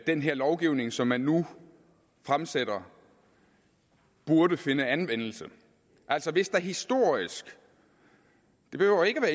den her lovgivning som man nu fremsætter burde finde anvendelse altså hvis man historisk det behøver ikke at